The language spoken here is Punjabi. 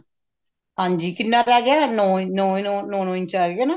ਹਾਂਜੀ ਕਿੰਨਾ ਰਿਹ ਗਿਆ no no no no inch ਆ ਗਿਆ ਨਾ